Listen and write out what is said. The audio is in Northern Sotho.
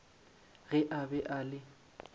ge a be a le